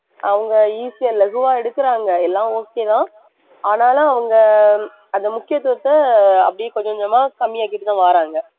அவங்க easy யா லகுவா எடுக்கறாங்க, எல்லாம் okay தான் ஆனாலும் அவங்க அந்த முக்கியத்துவத்தை அப்படியே கொஞ்சம் கொஞ்சமா கம்மியாக்கிட்டுதான் வர்றாங்க